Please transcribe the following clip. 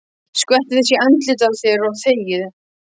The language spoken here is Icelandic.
Skvettu þessu í andlitið á þér og þegiðu.